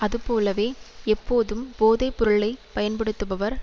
அதுபோலவே எப்போதும் போதை பொருளை பயன்படுத்துபவர்